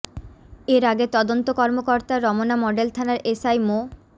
এর আগে তদন্ত কর্মকর্তা রমনা মডেল থানার এসআই মো